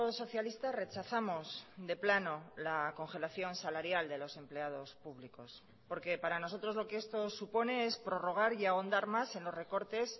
socialista rechazamos de plano la congelación salarial de los empleados públicos porque para nosotros lo que esto supone es prorrogar y ahondar más en los recortes